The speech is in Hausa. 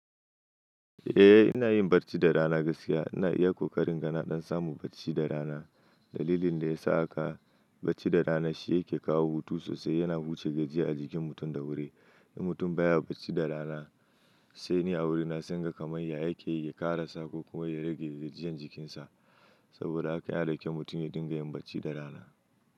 Eh, ina yin barci da rana gaskiya. Ina iya ƙoƙarin iga na ɗan samun barci da rana. Dalilin da ya sa haka barci da rana shi yake kawo hutu sosai. Yana wuce gajiyayye a jikin mutum da wuri. In mutum baya barci da rana sai ne a wurina sai inga kamar ya yake yake ƙara sako kuma ya rage gajiyayyen jikinsa. Saboda haka yana da kyau mutum ya dinga yin barci da rana.